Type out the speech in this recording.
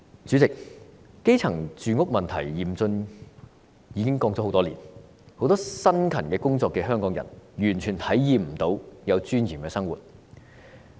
主席，基層住屋問題嚴峻，已經說了很多年，很多辛勤工作的香港人完全無法體驗有尊嚴的生活。